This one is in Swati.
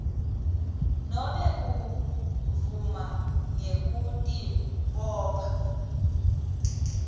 nobe kuvuma ngekutibopha